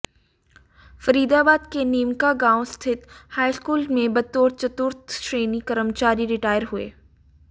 फरीदाबाद के नीमका गांव स्थित हाईस्कूल में बतौर चतुर्थ श्रेणी कर्मचारी रिटायर हुए